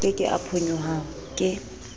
ke ke a phonyoha ke